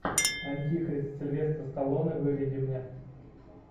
антихрист сильвестр сталлоне выведи мне